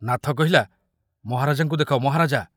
ନାଥ କହିଲା, ମହାରାଜାଙ୍କୁ ଦେଖ, ମହାରାଜା!